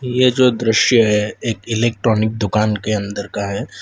ये जो दृश्य है एक इलेक्ट्रॉनिक दुकान के अंदर का है।